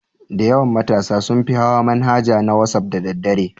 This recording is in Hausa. Dayawan matasa sunfi hawa manhaja na wasaf da daddare